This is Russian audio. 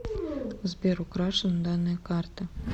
сбер украшены данные карты